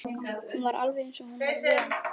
Hún var alveg eins og hún var vön.